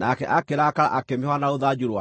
nake akĩrakara akĩmĩhũũra na rũthanju rwake.